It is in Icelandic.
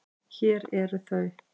Hér eru þau.